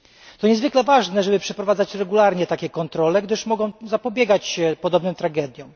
To niezwykle ważne, żeby przeprowadzać regularnie takie kontrole, gdyż mogą one zapobiegać podobnym tragediom.